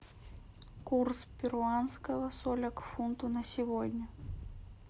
курс перуанского соля к фунту на сегодня